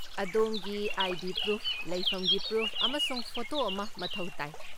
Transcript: ꯑꯗꯣꯝꯒꯤ ID. Proof, ꯂꯩꯐꯝꯒꯤ proof, ꯑꯃꯁꯨꯡ ꯐꯣꯇꯣ ꯑꯃ ꯃꯊꯧ ꯇꯥꯏ꯫